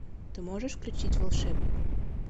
ты можешь включить волшебник